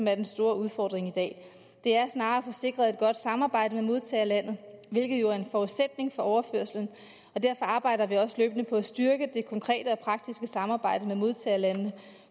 er den store udfordring i dag det er snarere at få sikret et godt samarbejde med modtagerlandet hvilket jo er en forudsætning for overførslen derfor arbejder vi også løbende på at styrke det konkrete og praktiske samarbejde med modtagerlandene